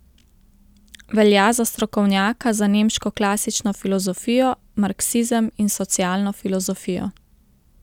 Velja za strokovnjaka za nemško klasično filozofijo, marksizem in socialno filozofijo.